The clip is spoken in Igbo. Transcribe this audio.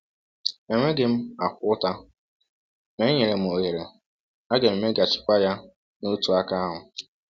Enweghị m akwa ụta; ma e nyere m ohere, aga m e meeghachikwa ya n’otu aka ahụ.